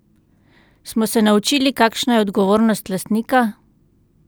Smo se naučili, kakšna je odgovornost lastnika?